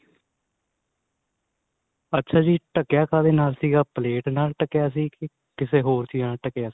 ਅੱਛਾ ਜੀ ਢਕਿਆ ਕਾਦੇ ਨਾਲ ਸੀਗਾ ਪਲੇਟ ਨਾਲ ਢਕਿਆ ਸੀ ਕੇ ਕਿਸੇ ਹੋਰ ਚੀਜ ਨਾਲ ਢਕਿਆ ਸੀ.